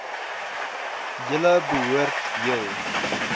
julle behoort heel